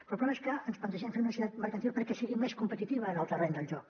però el problema és que ens plantegem fer una societat mercantil perquè sigui més competitiva en el terreny del joc